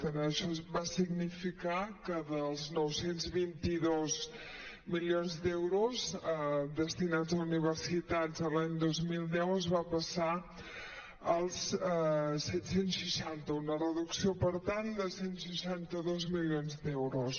això va significar que dels nou cents i vint dos milions d’euros destinats a universitats l’any dos mil deu es va passar als set cents i seixanta una reducció per tant de cent i seixanta dos milions d’euros